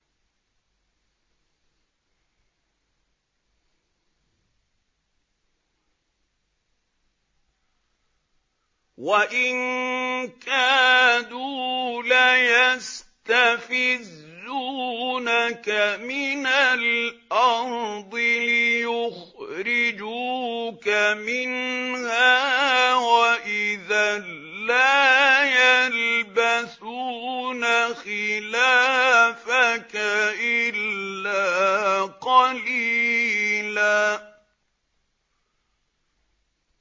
وَإِن كَادُوا لَيَسْتَفِزُّونَكَ مِنَ الْأَرْضِ لِيُخْرِجُوكَ مِنْهَا ۖ وَإِذًا لَّا يَلْبَثُونَ خِلَافَكَ إِلَّا قَلِيلًا